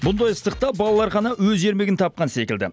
бұндай ыстықта балалар ғана өз ермегін тапқан секілді